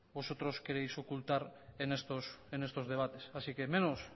vosotros queréis ocultar en estos debates así que menos